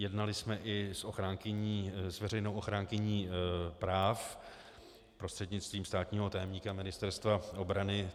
Jednali jsme i s veřejnou ochránkyní práv prostřednictvím státního tajemníka Ministerstva obrany.